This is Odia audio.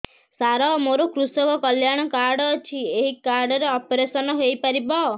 ସାର ମୋର କୃଷକ କଲ୍ୟାଣ କାର୍ଡ ଅଛି ଏହି କାର୍ଡ ରେ ଅପେରସନ ହେଇପାରିବ